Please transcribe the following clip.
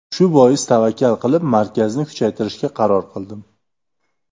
Shu bois tavakkal qilib markazni kuchaytirishga qaror qildim.